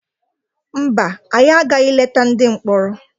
Mba, anyị agaghị leta ndị mkpọrọ.